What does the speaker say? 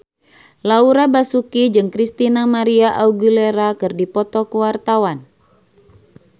Laura Basuki jeung Christina María Aguilera keur dipoto ku wartawan